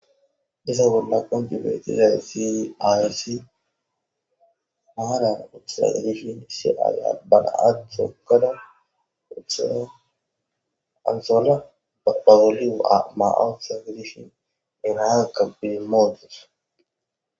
Iza bolla qonc, idayisi ayoti marara utidayita gidishin issi ayiya be na,a tokada utada ansola ba bolla maya utada ba na,aka idima utawus